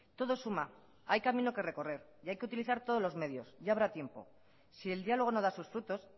todo suma hay camino que recorrer y hay que utilizar todos los medios ya habrá tiempo si el diálogo no da sus frutos